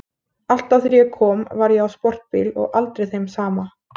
Alltaf þegar ég kom var ég á sportbíl og aldrei þeim sama.